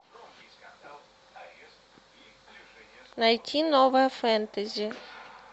найти новое фэнтези